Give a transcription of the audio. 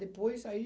Depois, aí...